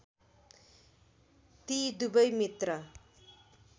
ती दुबै मित्र